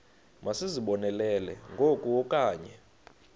masizibonelele ngoku okanye